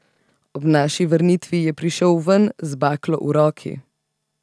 Ob naši vrnitvi je prišel ven z baklo v roki.